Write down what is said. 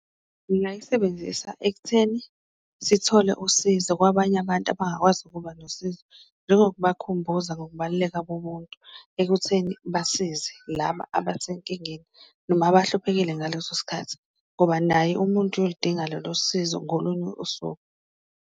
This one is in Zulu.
Ngingayisebenzisa ekutheni sithole usizo kwabanye abantu abangakwazi ukuba nosizo, njengokubakhumbuza ngokubaluleka kobuntu ekutheni basize laba abasenkingeni noma abahluphekile ngaleso sikhathi, ngoba naye umuntu uyoludinga lolo sizo ngolunye usuku.